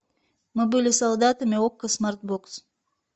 мы были солдатами окко смарт бокс